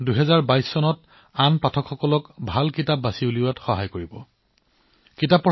যি সময়ত আমাৰ স্ক্ৰীণ টাইম বাঢ়িবলৈ ধৰিছে সেইসময়ত আমি কিতাপ পঢ়া অধিক জনপ্ৰিয় হোৱাটো নিশ্চিত কৰিবলৈ একেলগে কাম কৰিব লাগিব